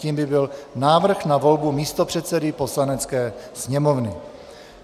Tím by byl návrh na volbu místopředsedy Poslanecké sněmovny.